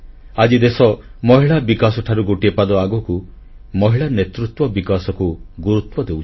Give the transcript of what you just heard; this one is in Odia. ଆଜି ଦେଶ ମହିଳା ବିକାଶ ଠାରୁ ଗୋଟିଏ ପାଦ ଆଗକୁ ମହିଳା ନେତୃତ୍ୱ ବିକାଶକୁ ଗୁରୁତ୍ୱ ଦେଉଛି